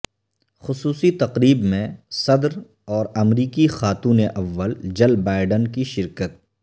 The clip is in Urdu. خصوصی تقریب میں صدر اور امریکی خاتون اول جل بائیڈن کی شرکت